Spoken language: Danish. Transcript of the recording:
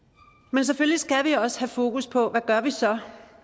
men selvfølgelig skal vi også have fokus på hvad vi så